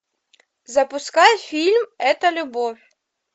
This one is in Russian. запускай фильм это любовь